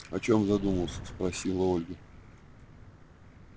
о чём задумался спросила ольга